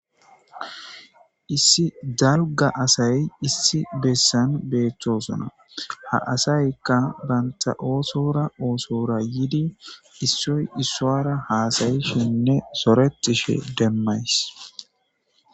Issi dalga asay issi bessan beettosona ha asaykka banta oosora oosora yidi issoy issoara haasayi shenne soretishe demmays